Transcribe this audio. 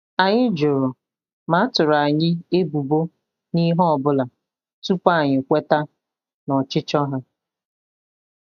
Anyị jụrụ ma a tụrụ anyị ebubo n'ihe ọ bụla tupu anyị kweta n'ọchịchọ ha